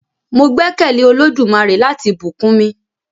Mo gbẹ́kẹ̀lé Olódùmarè láti bùkún mi.